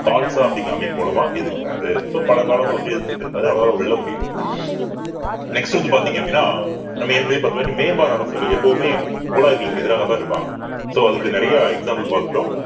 கால்சா அப்படிங்கிற அமைப்பு மூலமா எதிர்க்கிறாரு so பல காலமா அவர் எதிர்த்துகிட்டு இருக்காரு அதனால அவரால அத வெல்ல முடியலை next வந்து பார்த்தீங்க அப்படின்னா நம்ம ஏற்கனவே அரசர்கள் எப்பவுமே முகலாயர்களுக்கு எதிராகத்தான் இருப்பாங்க so அதுக்கு நிறைய example பார்த்துட்டோம்